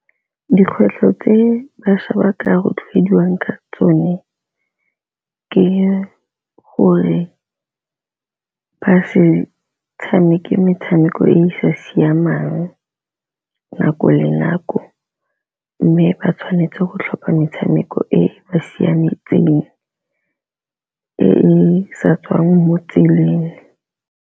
Dikgwetlho tse bašwa ba ka rotloediwa ka tsone ke gore ba se tshameke metshameko e e sa siamang nako le nako, mme ba tshwanetse go tlhopha metshameko e mosiametseng e e sa tswang mo tseleng.